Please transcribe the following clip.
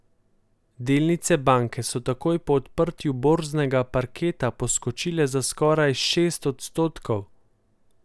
Delnice banke so takoj po odprtju borznega parketa poskočile za skoraj šest odstotkov.